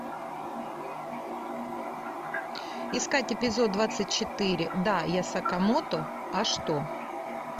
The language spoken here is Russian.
искать эпизод двадцать четыре да я сакамото а что